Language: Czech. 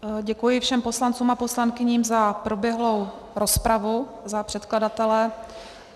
Děkuji všem poslancům a poslankyním za proběhlou rozpravu za předkladatele.